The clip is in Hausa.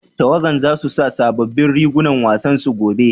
Tawagan za su sa sabobbin rigunan wasan su gobe?